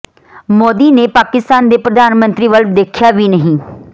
ਮੋਦੀ ਨੇ ਪਾਕਿਸਤਾਨ ਦੇ ਪ੍ਰਧਾਨ ਮੰਤਰੀ ਵੱਲ ਦੇਖਿਆ ਵੀ ਨਹੀਂ